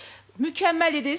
Mükəmməl idiniz.